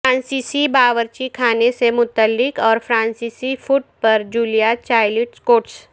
فرانسیسی باورچی خانے سے متعلق اور فرانسیسی فوڈ پر جولیا چائلڈ کوٹس